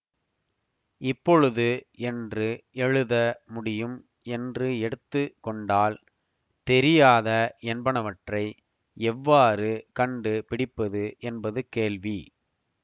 இப்பொழுது என்று எழுத முடியும் என்று எடுத்து கொண்டால் தெரியாத என்பனவற்றை எவ்வாறு கண்டு பிடிப்பது என்பது கேள்வி